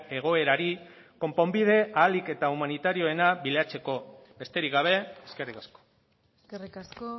egoerari konponbide ahalik eta humanitarioena bilatzeko besterik gabe eskerrik asko eskerrik asko